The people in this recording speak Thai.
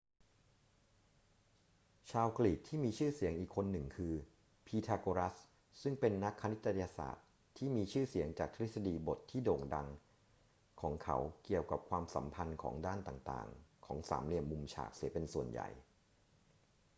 ชาวกรีกที่มีชื่อเสียงอีกคนหนึ่งคือพีทาโกรัสซึ่งเป็นนักคณิตศาสตร์ที่มีชื่อเสียงจากทฤษฎีบทที่โด่งดังของเขาเกี่ยวกับความสัมพันธ์ของด้านต่าง ๆ ของสามเหลี่ยมมุมฉากเสียเป็นส่วนใหญ่